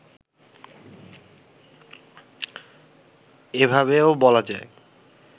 এভাবেও বলা যায়